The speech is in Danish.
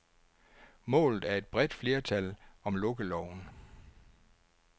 Målet er et bredt flertal om lukkeloven.